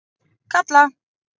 Kalla